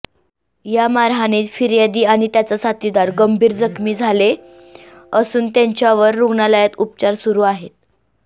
या मारहाणीत फिर्यादी आणि त्याचा साथीदार गंभीर जखमी झाले असून त्यांच्यावर रुग्णालयात उपचार सुरू आहेत